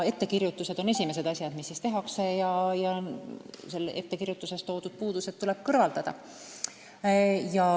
Ettekirjutused on esimesed asjad, mida vaadatakse, ja puudused tuleb kõrvaldada.